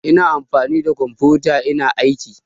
Ina amfani da kumfiyota ina aiki